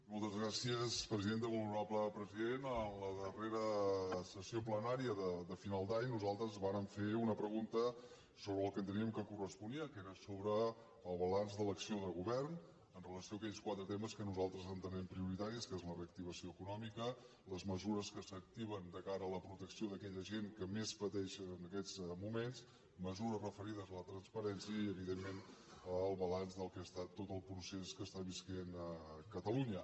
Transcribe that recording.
molt honorable president en la darrera sessió plenària de final d’any nosaltres vàrem fer una pregunta sobre el que enteníem que cor·responia que era sobre el balanç de l’acció de govern amb relació a aquells quatre temes que nosaltres ente·nem prioritaris que són la reactivació econòmica les mesures que s’activen de cara a la protecció d’aquella gent que més pateixen en aquests moments mesures referides a la transparència i evidentment el balanç del que ha estat tot el procés que està vivint catalunya